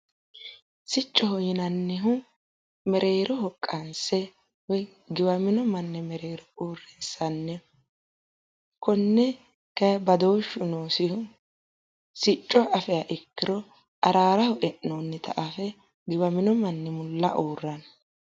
Siccoho yinannihu mereeroho qanse woye giwamino manni mereero uurrinsanni konne kaye badooshshu noosiro sicco afihaa ikkiro araaraho e'noonnita afe giwamino manni mulla uurranno